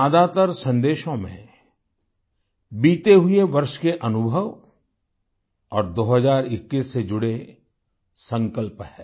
ज्यादातर संदेशों में बीते हुए वर्ष के अनुभव और 2021 से जुड़े संकल्प हैं